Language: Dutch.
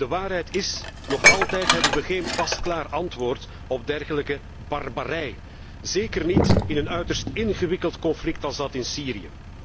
De waarheid is nog altijd hebben wij geen pasklaar antwoord op dergelijke barbarij, zeker niet in een uiterst ingewikkeld conflict als dat in Syrië.